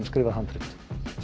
skrifað handrit